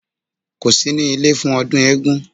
Kò sí ní ilé fún ọdún eégún